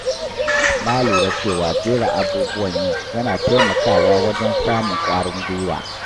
Na lura cewa jera abubuwan yi yana taimakawa wajen samun ƙwarin gwiwa.